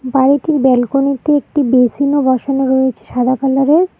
বাড়িটির ব্যালকনিতে -তে একটি বেসিনও -ও বসানো রয়েছে সাদা কালারের -এর।